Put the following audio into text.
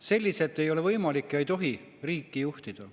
Selliselt ei ole võimalik ega tohi riiki juhtida.